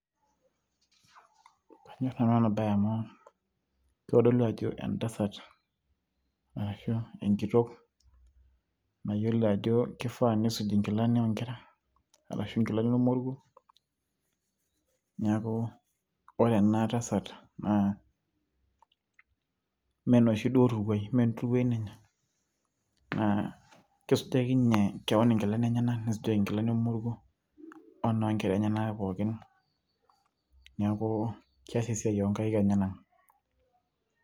kanyorr nanu ena baye amu kitodolu ajo entasat arashua enkitok nayiolo ajo kifaa nisuji inkilani oonkera arashua inkilani olmoruo niaku ore ena tasat naa mee enoshi duo turuai, mee enturuai ninye naa kisujaki ninye kewon inkilani enyenak nisujaki inkilani olmoruo oo noonkera enyenak pookin niaku kes esiai oonkaik enyenak.